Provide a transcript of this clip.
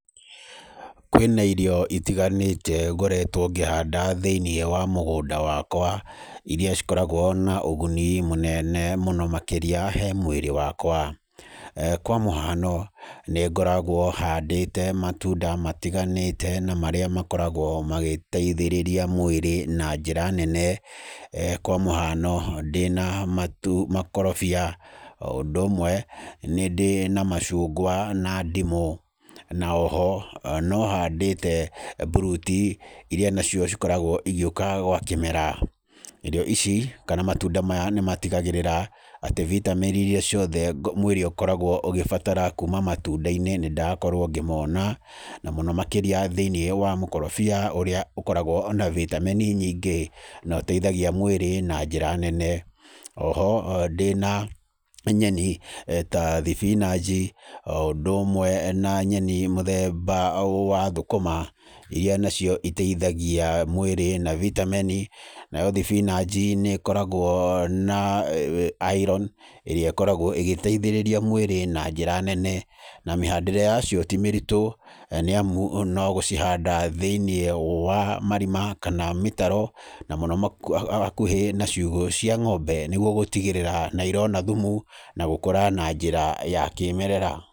Kwĩna irio itiganĩte ngoretwo ngĩhanda thĩinĩ wa mũgũnda wakwa iria cikoragwo na ũguni mũnene mũno makĩrĩa hee mwĩrĩ wakwa. Kwa mũhano, nĩngoragwo handĩte matunda matiganĩte na marĩa makoragwo magĩteithĩrĩria mwĩrĩ na njĩra ya nene kwa mũhano ndĩna makorobia, o ũndũ ũmwe nĩ ndĩna macungwa na ndimũ, na oho nĩhandĩte buruti iria cikoragwo cigĩũka gwa kĩmera. Irio ici kana matunda maya nĩmatigagĩrĩra atĩ bitameni iria ciothe mwĩrĩ ũkoragwo ũgĩbatara kuma matunda-inĩ nĩndakorwo ngĩmona, na mũno makĩria thĩinĩ wa mũkorobia ũrĩa ũkoragwo na bitameni nyingĩ na ũteithagia mwĩrĩ na njĩra nene. Oho ndĩna nyeni ta thibinaji, o ũndũ ũmwe na nyeni mũthemba wa thũkũma iria nacio iteithagia mwĩrĩ na bitameni, nayo thibinaji nĩkoragwo na iron ĩrĩa ĩkoragwo ĩgĩteithĩrĩria mwĩrĩ na njĩra nene. Na mĩhandĩre yacio ti mĩritũ nĩamu no gũcihanda thĩinĩ wa marima kana mĩtaro na mũno hakuhĩ na ciugo cia ng'ombe nĩguo gũtigĩrĩra nĩirona thumu na gũkũra na njĩra ya kĩmerera.